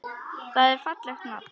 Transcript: Það er fallegt nafn.